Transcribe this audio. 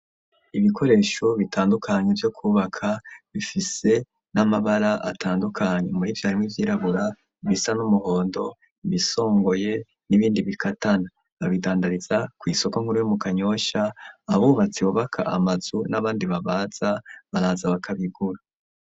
Ibikoresho bitandukanye vyo kubaka bifise n'amabara atandukanye muri vyo harimwo ivyirabura, ibisa n'umuhondo, ibisongoye n'ibindi bikatana ; abidandariza ku isoko nkuru yo mu kanyosha abubatsi bubaka amazu n'abandi babaza baraza bakabigura.